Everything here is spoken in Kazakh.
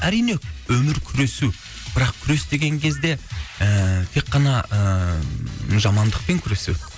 әрине өмір күресу бірақ күрес деген кезде ыыы тек қана ыыы жамандықпен күресу